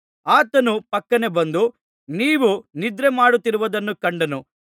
ಆತನು ಫಕ್ಕನೆ ಬಂದು ನೀವು ನಿದ್ರೆ ಮಾಡುತ್ತಿರುವುದನ್ನು ಕಂಡಾನು